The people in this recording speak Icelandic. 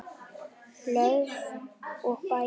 Blöð og bækur